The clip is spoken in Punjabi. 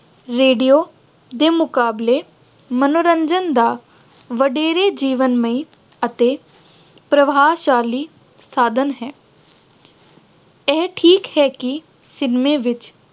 radio ਦੇ ਮੁਕਾਬਲੇ ਮੰਨੋਰੰਜਨ ਦਾ ਵਡੇਰੇ ਜੀਵਨਮਈ ਅਤੇ ਪ੍ਰਭਾਵਸ਼ਾਲੀ ਸਾਧਨ ਹੈ। ਇਹ ਠੀਕ ਹੈ ਕਿ cinema ਵਿੱਚ